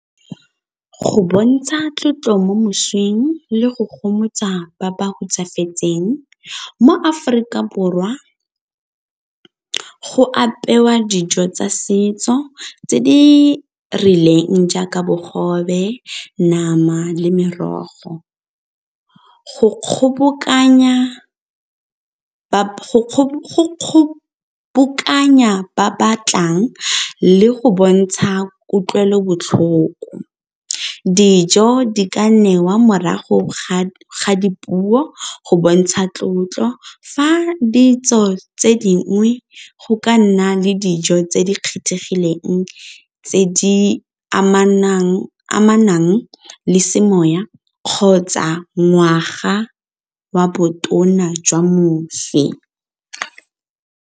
Go bontsha tlotlo mo moswing le go gomotsa ba ba hutsafetseng. Mo Aforika Borwa go apewa dijo tsa setso tse di rileng jaaka bogobe, nama le merogo. Go kgobokanya ba ba tlang le go bontsha kutlwelobotlhoko, dijo di ka newa morago ga dipuo go bontsha tlotlo, fa ditso tse dingwe go ka nna le dijo tse di kgethegileng tse di amanang le semoya kgotsa ngwaga wa botona jwa moswi.